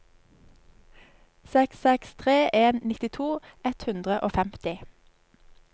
seks seks tre en nittito ett hundre og femti